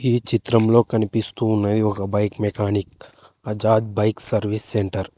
ఈ చిత్రంలో కనిపిస్తూ ఉన్నది ఒక bike mechanic Bajaj bike service centre .